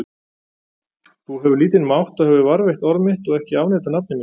Þú hefur lítinn mátt og hefur varðveitt orð mitt og ekki afneitað nafni mínu.